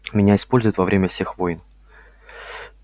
меня используют во время всех войн